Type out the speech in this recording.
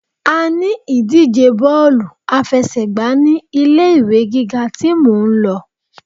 A ní ìdíje Bọ́ọ̀lù àfẹsẹ̀gbá ní ilé ìwé gíga tí mò ń lọ.